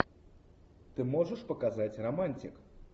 ты можешь показать романтик